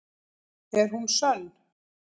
Er hún sönn?